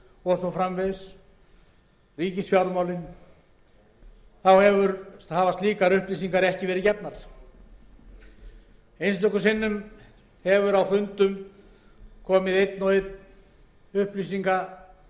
og svo framvegis ríkisfjármálin þá hafa slíkar upplýsingar ekki verið gefnar einstöku sinnum hefur á fundum komið einn og einn